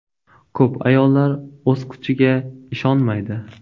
Ko‘p ayollar o‘z kuchiga ishonmaydi.